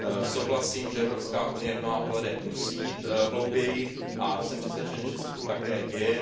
Souhlasím, že Evropská unie v mnoha ohledech musí jít hlouběji, a jsem přesvědčen, že se to také děje.